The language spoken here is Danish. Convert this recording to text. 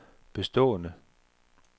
bestående